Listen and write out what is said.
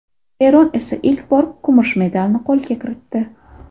Eron esa ilk bor kumush medalni qo‘lga kiritdi.